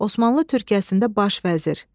Osmanlı Türkiyəsində baş vəzir.